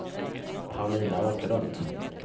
Paulina Åkerlund